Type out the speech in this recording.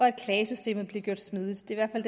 at klagesystemet bliver gjort smidigt det er i